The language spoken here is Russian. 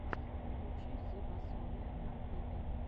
включи зебасориа в ютубе